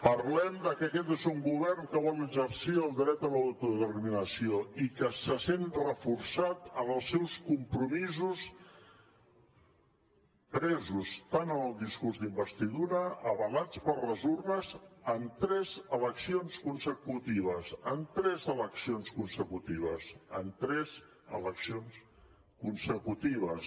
parlem que aquest és un govern que vol exercir el dret a l’autodeterminació i que se sent reforçat en els seus compromisos presos en el discurs d’investidura avalats per les urnes en tres eleccions consecutives en tres eleccions consecutives